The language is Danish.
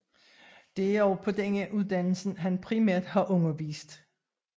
Det er også på denne uddannelse han primært har undervist